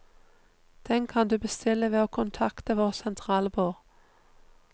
Den kan du bestille ved å kontakte vårt sentralbord.